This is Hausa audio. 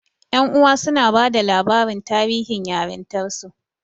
Ƴan uwa suna bada labarin tarihin yarintarsu.